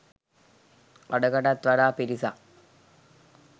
අඩකටත් වඩා පිරිසක්